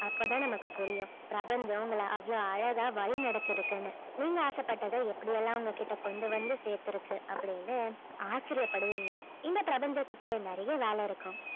அப்பதான் நமக்கு புரியும் பிரபஞ்சம் உங்களை அவ்ளோ அழகா வழி நடத்தி இருக்குன்னு நீங்க ஆசைப்பட்டதை எப்படி எல்லாம் உங்ககிட்ட கொண்டு வந்து சேர்த்திருக்கு அப்படின்னு ஆச்சரியப்படுவீங்க இந்த பிரபஞ்சத்திற்கு நிறைய வேலை இருக்கும்